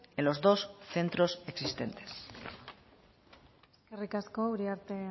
en los dos centros existentes eskerrik asko uriarte